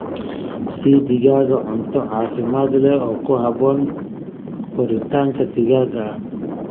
Sii digaagga cunto caafimaad leh oo ku habboon koritaanka degdegga ah.